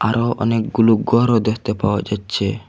ট অনেকগুলো গরও দ্যাখতে পাওয়া যাচ্চে।